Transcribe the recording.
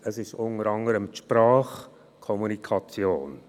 Es ist unter anderem die Sprache, die Kommunikation.